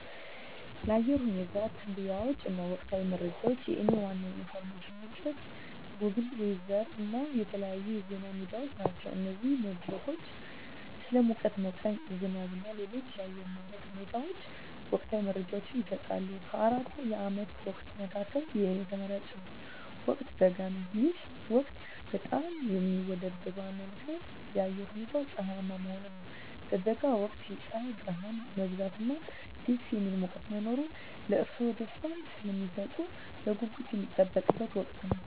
ለአየር ሁኔታ ትንበያዎች እና ወቅታዊ መረጃዎች፣ የእኔ ዋና የኢንፎርሜሽን ምንጮች ጎግል ዌዘር እና የተለያዩ የዜና ሚዲያዎች ናቸው። እነዚህ መድረኮች ስለ ሙቀት መጠን፣ ዝናብ እና ሌሎች የአየር ንብረት ሁኔታዎች ወቅታዊ መረጃዎችን ይሰጣሉ። ከአራቱ የዓመት ወቅቶች መካከል፣ የእኔ ተመራጭ ወቅት በጋ ነው። ይህ ወቅት በጣም የሚወደድበት ዋና ምክንያት የአየሩ ሁኔታ ፀሐያማ መሆኑ ነው። በበጋ ወቅት የፀሐይ ብርሃን መብዛት እና ደስ የሚል ሙቀት መኖር ለእርስዎ ደስታን ስለሚሰጡት በጉጉት የሚጠበቅ ወቅት ነው።